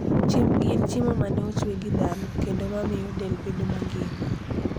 chiembgi en chiemo ma ne ochwe gi dhano kendo mamiyo del bedo mangima.